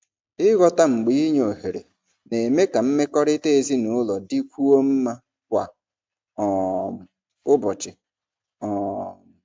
Ịghọta mgbe inye ohere na-eme ka mmekọrịta ezinụlọ dịkwuo mma kwa um ụbọchị. um